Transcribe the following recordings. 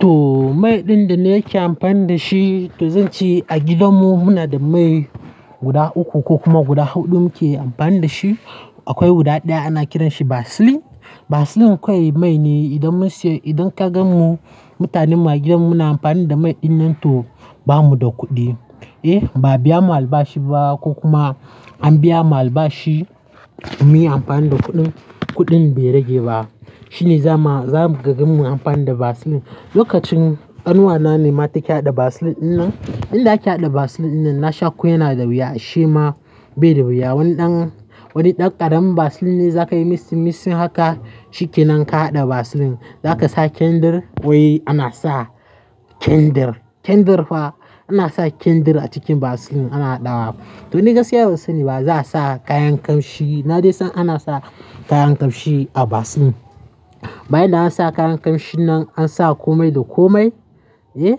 To mai ɗin da nake amfani da shi, to zan ce a gidanmu muna da mai guda uku ko kuma guda huɗu muke amfani da shi. Akwai guda ɗaya ana kiran shi Vaseline. Vaseline kawai mai ne. Idan mun siya, idan ka gan mu mutanen mu a gidan mu na amfani da mai ɗin nan to ba mu da kuɗi. Eh, ba a biya mu albashi ba ko kuma an biya mu albashi mu yi amfani da kuɗin, kuɗin bai rage ba. Shine zamu, za ka gan mu amfani da Vaseline. Lokacin, ƙanuwa na ne ma take haɗa Vaseline ɗinnan. Inda ake haɗa Vaseline ɗinnan na sha ko yana da wuya, shi ma bai da wuya. Wannan wani ɗan ƙaramin Vaseline ne za ka yi mitsin-mitsin haka, ciki nan ka haɗa Vaseline. Za ka sa candle, wai ana sa candle. Candle fa, ana sa candle a cikin Vaseline ana ɗawa. To ni gaskiya ba sani ba za a sa kayan ƙamshi, na dai san ana sa kayan ƙamshi a Vaseline. Bayan da an sa kayan ƙamshi nan, an sa komai da komai. Eh,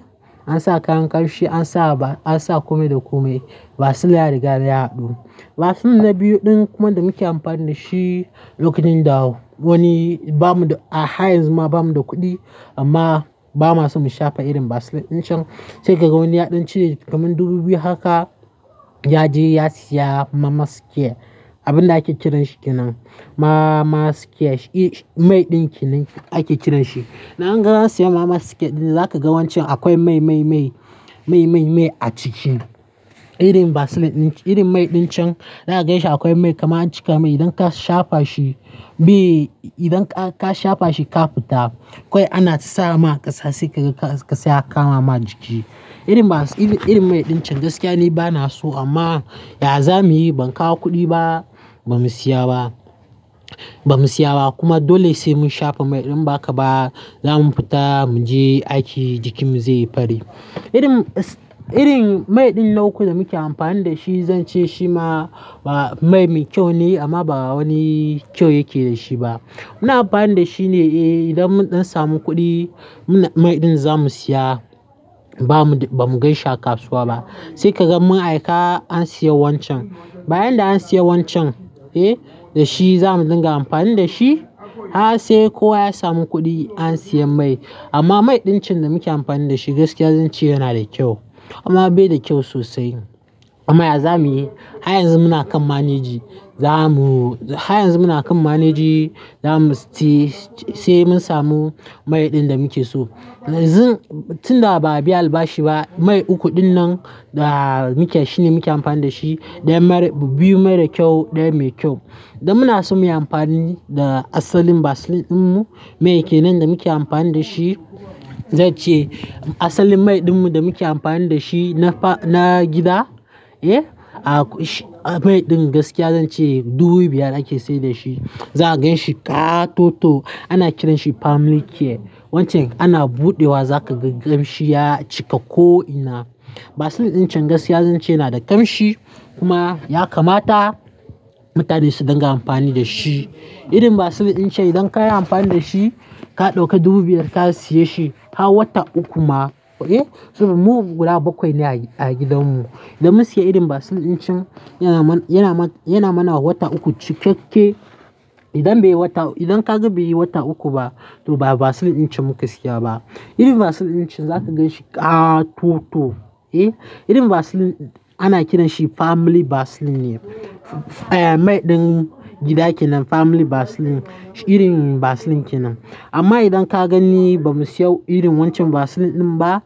an sa kayan ƙamshi, an sa ba, an sa komai da komai. Vaseline ya riga da ya haɗu. Vaseline na biyu ɗin kuma da muke amfani da shi, lokacin da wani ba mu da, a haryanzu ma ba mu da kuɗi amma ba ma su mu shafa irin Vaseline ɗin can. Sai ka ga wani ya ɗan cire kaman dubu biyu haka ya je ya siya mamas care, abin da ake kiran shi kinan. Mamas care mai ɗin kenan ake kiran shi. Nan ga an siya mama cares ɗin, za ka ga wancan akwai mai, mai, mai, mai, mai, mai a ciki. Irin Vaseline ɗin, irin mai ɗin can, za ka ganshi akwai mai kaman an cika mai. Idan ka shafa shi, bai, idan ka shafa shi ka fita, kawai ana sa ma kasa sai ka, ga kasa ya kama ma jiki. Irin vas, irin mai ɗin can gaskiya ne ba na so amma ya zamu yi? Ban kawo kuɗi ba, ba mu siya ba. Ba mu siya ba kuma dole sai mun shafa mai ɗin in ba haka ba. Za mu fita, mu je aiki jikinmu zai yi fari. Irin, irin mai ɗin na uku da muke amfani da shi, zan ce shi ma ba mai mai me kyau ne amma ba wani kyau yake da shi ba. Muna amfani da shine, eh, idan mun samu kuɗi, muna mai ɗin za mu siya. Ba mu, ba mu ganshi a kasuwa ba. Sai ka gan mun aika an siya wancan. Bayan da an siya wancan, eh, da shi za mu dinga amfani da shi. Haka sai kowa ya samu kuɗi an siya mai. Amma mai ɗin can da muke amfani da shi gaskiya zan ce yana da kyau amma bai da kyau sosai. Amma ya zamu yi? Har yanzu muna kan managing. Za mu, har yanzu muna kan manage. Za mu, sai mun samu mai ɗin da muke so. Yanzun tunda ba a biya albashi ba, mai uku ɗin nan da muke, shine muke amfani da shi. Ɗaya mara, biyu mara kyau, ɗaya mai kyau. Dan muna so muyi amfani da asalin Vaseline ɗinmu, mai kenan da muke amfani da shi. Zan ce asalin mai ɗinmu da muke amfani da shi na fa, na gida, eh, a kwai, a mai ɗin gaskiya zan ce dubu biyar ake sayar da shi. Za ka ganshi ƙa-toto. Ana kiran shi Family Care wancan ana buɗewa za ka ga ƙamshi ya cika ko'ina. Vaseline ɗin can gaskiya zan ce yana da ƙamshi kuma ya kamata mutane su dinga amfani da shi. Irin Vaseline ɗin can idan ka yi amfani da shi, ka ɗauka dubu biyar ka siye shi, har wata uku ma, eh. Mu guda bakwai ne a gidanmu. Da mun siya irin Vaseline ɗin can, yana man, yana mana wata uku cikake. Idan bai wata, idan ka ga baiyi wata uku ba, to ba Vaseline ɗin can muka siya ba. Irin Vaseline ɗin can za ka ganshi ƙa-toto, eh. Irin Vaseline ana kiran shi Family Vaseline ne. Mai ɗin gida kenan, Family Vaseline, irin Vaseline kenan. Amma idan ka gani ba mu siya irin wancan Vaseline ɗin ba,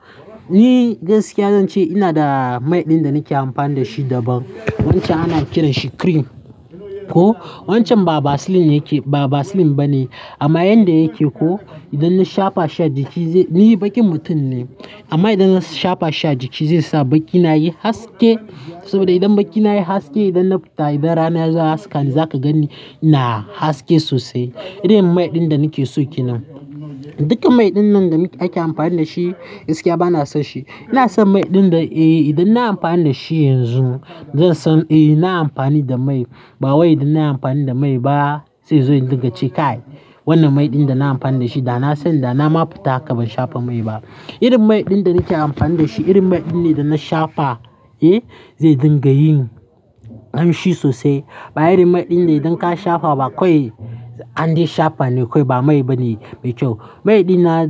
ni gaskiya zan ce ina da mai ɗin da nake amfani da shi daban. Wancan ana kiran shi cream, ko. Wancan ba Vaseline yake, ba Vaseline bane amma yanda yake ko, idan na shafa sha jiki zai, ni bakin mutum ne amma idan na shafa sha jiki zai sa bakina yayi haske. Saboda idan bakina yayi haske, idan na fita, idan rana ya ga haska ni za ka gani ina haske sosai. Irin mai ɗin da nake so kenan. Dukkan mai ɗin nan da ake amfani da shi gaskiya ba na son shi. Ina son mai ɗin da, eh, idan na yi amfani da shi yanzu zan san, eh, na yi amfani da mai. Ba wai idan na yi amfani da mai ba sai inzo in dinga ce kai. Wannan mai ɗin da na yi amfani da shi da na sani da na ma fita haka ban shafa mai ba. Irin mai ɗin da nake amfani da shi, irin mai ɗin ne idan na shafa, eh, zai dinga yin ƙamshi sosai. Ba irin mai ɗin da idan ka shafa ba kawai andai shafa ne kawai ba mai bane mai kyau. Mai ɗin na.